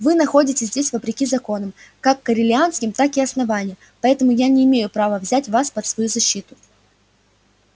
вы находитесь здесь вопреки законам как корелианским так и основания поэтому я не имею права взять вас под свою защиту